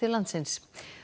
landsins